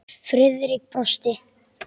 Friðrik brosti.